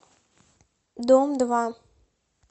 дом два